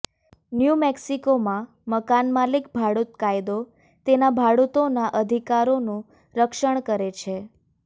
new મેક્સિકોમાં મકાનમાલિક ભાડૂત કાયદો તેના ભાડૂતોના અધિકારોનું રક્ષણ કરે છે